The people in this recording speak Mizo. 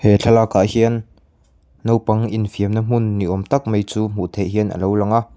he thlalakah hian naupang in fiamna hmun ni awm tak mai chu hmuh theih hian a lo lang a.